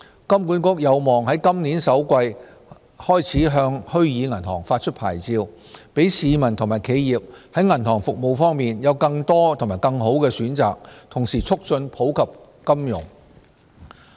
金管局有望在今年首季開始向虛擬銀行發出牌照，讓市民和企業在銀行服務方面有更多及更好的選擇，同時促進普及金融。